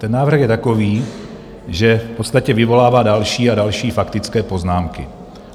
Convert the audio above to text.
Ten návrh je takový, že v podstatě vyvolává další a další faktické poznámky.